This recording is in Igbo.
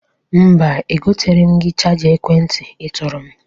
Mba, egoteghiri m gị chaja ekwentị ị tụrụ m.